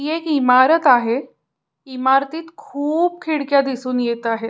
ही एक इमारत आहे इमारतीत खुप खिडक्या दिसून येत आहेत.